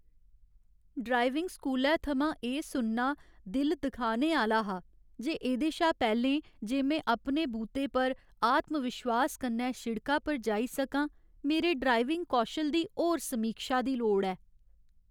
Driving स्कूलै थमां एह् सुनना दिल दुखाने आह्‌ला हा जे एह्दे शा पैह्लें जे में अपने बूते पर आत्मविश्वास कन्नै शिड़का पर जाई सकां मेरे ड्राइविंग कौशल दी होर समीक्षा दी लोड़ ऐ ।